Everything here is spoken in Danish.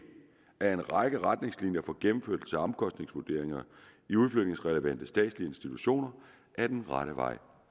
at en række retningslinjer for gennemførelse af omkostningsvurderinger i udflytningsrelevante statslige institutioner er den rette vej